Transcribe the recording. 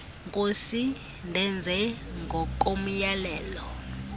nkosi ndenze ngokomyalelo